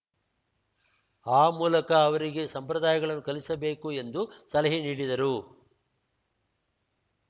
ಆ ಮೂಲಕ ಅವರಿಗೆ ಸಂಪ್ರದಾಯಗಳನ್ನು ಕಲಿಸಬೇಕು ಎಂದು ಸಲಹೆ ನೀಡಿದರು